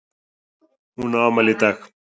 Hún á afmæli í dag.